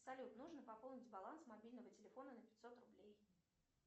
салют нужно пополнить баланс мобильного телефона на пятьсот рублей